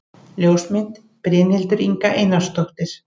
Ljósmynd: Brynhildur Inga Einarsdóttir